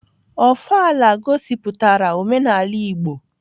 Ofala gosiputara omenala igbo